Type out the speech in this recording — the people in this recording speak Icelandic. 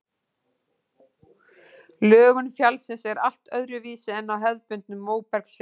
Lögun fjallsins er allt öðruvísi en á hefðbundnu móbergsfjalli.